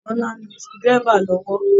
Bọ́lá ń lo screw driver lọ́wọ́